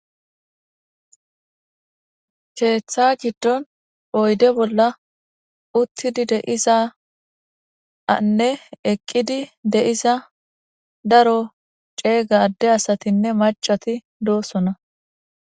keeththa giddon oyde bolla uttidi de'iza anne eqqidi de'iza daro ceega adde asatinne macati doosona